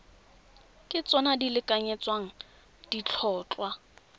ke tsona di lekanyetsang ditlhotlhwa